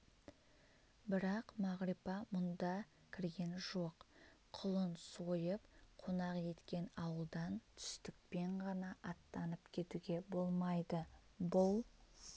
бірақ мағрипа бұнда кірген жоқ құлын сойып қонақ еткен ауылдан түстікпен ғана аттанып кетуге болмайды бұл